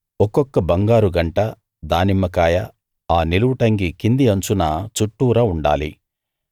ఒక్కొక్క బంగారు గంట దానిమ్మకాయ ఆ నిలువుటంగీ కింది అంచున చుట్టూరా ఉండాలి